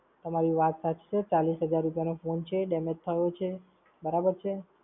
તમારી વાત સાચી છે. ચાલીસ હજાર રુપ્યાનો ફોન છે. damage થયો છે. બરાબર છે.